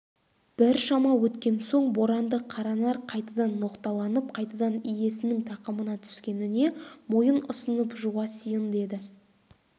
біршама өткен соң боранды қаранар қайтадан ноқталанып қайтадан иесінің тақымына түскеніне мойын ұсынып жуасиын деді